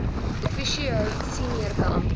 officio senior beampte